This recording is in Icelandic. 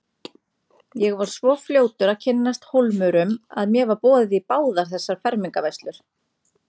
Ég var svo fljótur að kynnast Hólmurum að mér var boðið í báðar þessar fermingarveislur.